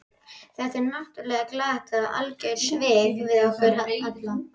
Þetta var náttúrlega glatað og algjör svik við okkur alla.